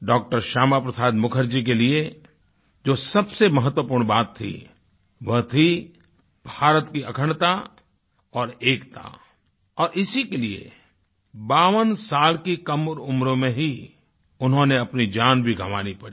डॉ० श्यामा प्रसाद मुखर्जी के लिए जो सबसे महत्वपूर्ण बात थी वो थी भारत की अखंडता और एकता और इसी के लिए 52 साल की कम उम्र में हीउन्होंने अपनी जान भी गवानी पड़ी